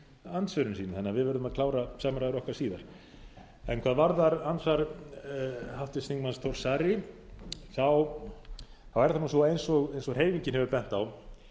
andsvörin sín þannig að við verðum að klára samræður okkar síðar hvað varðar andsvar háttvirts þingmanns þórs saari er það nú svo eins og hreyfingin hefur bent á